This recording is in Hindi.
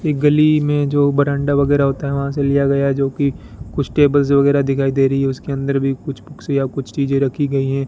ये गली में जो बरांडा वगैरा होता है वहां से लिया गया जोकि कुछ टेबल वगेरा दिखाई दे रही है उसके अंदर भी कुछ सुइयां कुछ चीजे रखी गई है।